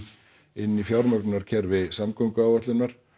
inn í fjármögnunarkerfi samgönguáætlunar